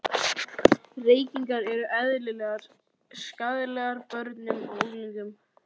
Reykingar eru eðlilegar skaðlegar börnum og unglingum.